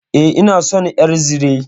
E, ina son ƴar zire.